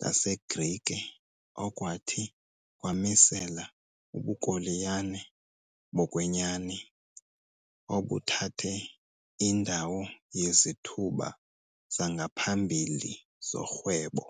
laseGrike okwathi kwamisela ubukoloniyali bokwenyani, obuthathe indawo yezithuba zangaphambili zorhwebo.